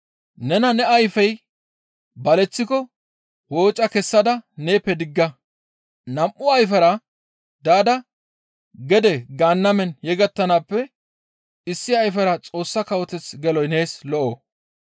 Nena ne ayfey baleththiko wooca kessada neeppe digga; nam7u ayfera daada gede Gaannamen yegettanaappe issi ayfera Xoossa Kawoteth geloy nees lo7o.